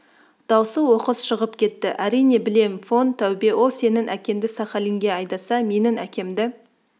даусы оқыс шығып кетті әрине білем фон тәубе ол сенің әкеңді сахалинге айдаса менің әкемді